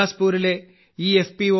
ബിലാസ്പൂരിലെ ഈ എഫ്